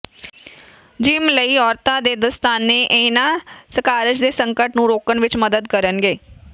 gym ਲਈ ਔਰਤਾਂ ਦੇ ਦਸਤਾਨੇ ਇਹਨਾਂ ਸਕਾਰਜ ਦੇ ਸੰਕਟ ਨੂੰ ਰੋਕਣ ਵਿਚ ਮਦਦ ਕਰਨਗੇ